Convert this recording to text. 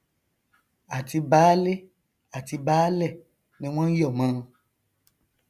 àti baálé àti baálẹ ni wọn nyọmọ ọn